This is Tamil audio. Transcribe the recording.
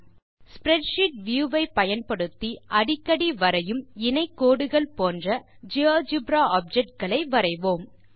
ஸ்ப்ரெட்ஷீட் வியூ ஐ பயன்படுத்தி அடிக்கடி வரையும் இணைகோடுகள் போன்ற ஜியோஜெப்ரா ஆப்ஜெக்ட்ஸ் களை வரைவோம்